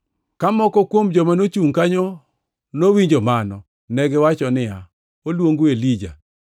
Ka moko kuom joma nochungʼ kanyo owinjo mano, negiwacho niya, “Oluongo Elija.”